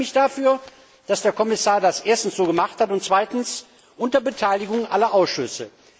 Und ich bedanke mich dafür, dass der Kommissar das erstens so gemacht hat und zweitens unter Beteiligung aller Ausschüsse.